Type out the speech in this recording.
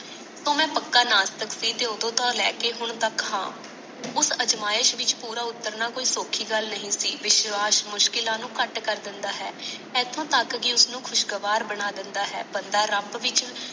ਓਦੋ ਮੈ ਪੱਕਾ ਨਾਸਤਿਕ ਸੀ ਤੇ ਓਦੋ ਤੋਂ ਲਾਕੇ ਹੁਣ ਤਕ ਹਾਂ ਉਸ ਅਜਿਮਹਿਸ਼ ਵਿਚ ਪੂਰਾ ਉਤਾਰਨਾ ਕੋਈ ਸੋਖੀ ਗੱਲ ਨਹੀਂ ਸੀ ਵਿਸ਼ਵਾਸ ਮੁਸ਼ਕਿਲਾਂ ਨੂੰ ਕੱਟ ਕਰ ਦੇਦਾ ਹੈ ਏਥੋਂ ਤਕ ਕੀ ਉਸ ਨੂੰ ਖ਼ੁਸ਼ ਗਾਵਾਰ ਬਣਾ ਦੀਦਾ ਹੈ ਬੰਦਾ ਰਬ ਬੀ